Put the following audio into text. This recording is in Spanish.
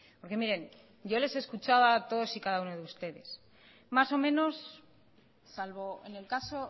porque miren yo les he escuchado a todos y cada uno de ustedes más o menos salvo en el caso